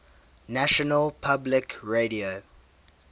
national public radio